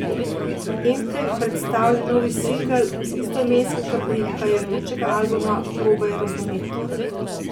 Emkej predstavlja novi singel z istoimenskega prihajajočega albuma Probaj razumet.